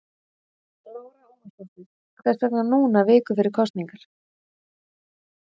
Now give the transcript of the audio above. Lára Ómarsdóttir: Hvers vegna núna viku fyrir kosningar?